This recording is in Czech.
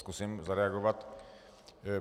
Zkusím zareagovat.